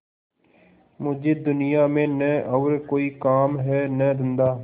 मुझे दुनिया में न और कोई काम है न धंधा